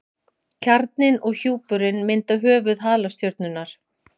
kjarninn og hjúpurinn mynda höfuð halastjörnunnar